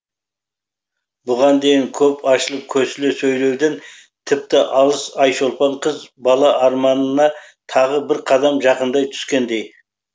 бұған дейін көп ашылып көсіле сөйлеуден тіпті алыс айшолпан қыз бала арманына тағы бір қадам жақындай түскендей